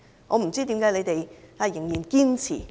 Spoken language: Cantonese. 我不知道為何他們仍然堅持？